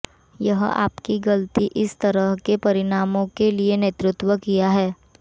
यह आपकी गलती इस तरह के परिणामों के लिए नेतृत्व किया है